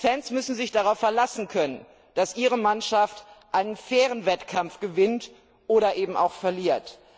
Fans müssen sich darauf verlassen können, dass ihre Mannschaft einen fairen Wettkampf gewinnt oder eben auch verliert.